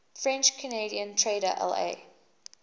french canadian trader la